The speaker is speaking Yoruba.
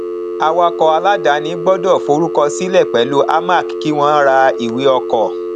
awakọ aláàdáni gbọdọ forúkọ sílẹ pẹlú amac kí wọn rà ìwé ọkọ